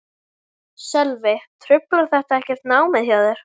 Sölvi: Truflar þetta ekkert námið hjá þér?